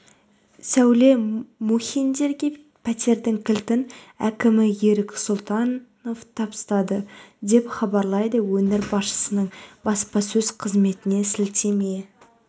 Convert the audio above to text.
сәуле мұхиндерге пәтердің кілтін әкімі ерік сұлтанов табыстады деп хабарлайды өңір басшысының баспасөз қызметіне сілтеме